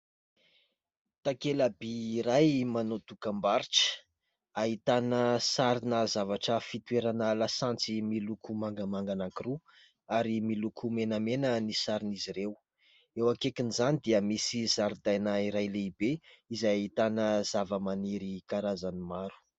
Takelabỳ iray manao dokam-barotra. Ahitana sarina zavatra fitoerana lasantsy miloko mangamanga anankiroa ary miloko menamena ny saron'izy ireo. Eo akaikin'izany dia misy zaridaina iray lehibe izay ahitana zavamaniry karazany maro.